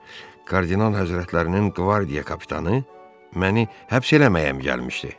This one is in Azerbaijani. Kardinal həzrətlərinin qvardiya kapitanı məni həbs eləməyə gəlmişdi.